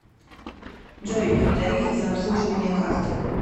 джой тарифы за обслуживание карт